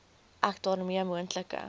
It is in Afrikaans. ek daarmee moontlike